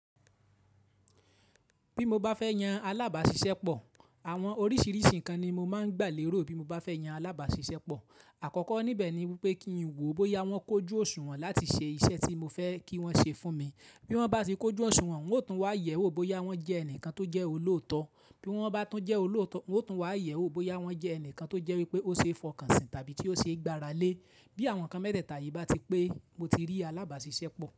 Bí mo bá fẹ́ yan alábàáṣiṣẹ́ pọ̀, àwọn oríṣiríṣi ǹkan ni mo máa ń gbálèró bí mo bá fẹ́ yan alábàáṣiṣẹ́ pọ̀. Àkọ́kọ́ níbẹ̀ ni wípé kí n wò ó bóyá wọ́n kójú òṣùwọ̀n láti ṣe iṣẹ́ tí mo fẹ́ kí wọ́n ṣe fún mi. Bí wọ́n bá ti kójú òṣùwọ̀n, hun o tún wá yẹ̀ ẹ́ wò bóyá wọ́n jẹ́ ẹnìkan tó jẹ́ olòótọ́. Bí wọ́n bá tún jẹ́ olòótọ́, hun o tún wá yẹ̀ ẹ́ wò bóyá wọ́n jẹ́ ẹnìkan tó jẹ́ wípé ó ṣe é fọkànsìn tàbí tí ó ṣe é gbára lé. Bí àwọn nkan mẹ́tẹ̀ẹ̀ta yìí bá ti pé, mo ti rí alábàáṣiṣẹ́ pọ̀